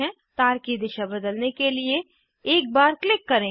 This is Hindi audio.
तार की दिशा बदलने के लिए एक बार क्लिक करें